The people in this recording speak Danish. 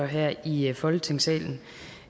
her i i folketingssalen